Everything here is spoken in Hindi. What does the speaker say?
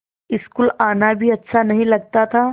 स्कूल आना भी अच्छा नहीं लगता था